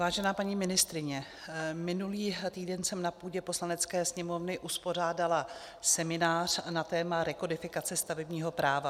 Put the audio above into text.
Vážená paní ministryně, minulý týden jsem na půdě Poslanecké sněmovny uspořádala seminář na téma rekodifikace stavebního práva.